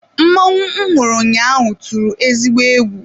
Mmọnwụ m hụrụ ụnyaahụ tụrụ ezigbo egwu.